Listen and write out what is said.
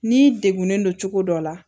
N'i degunnen don cogo dɔ la